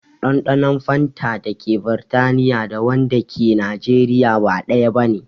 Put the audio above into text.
Ɗanɗanon fanta dake Britaniya da wanda ke Najeriya ba ɗaya bane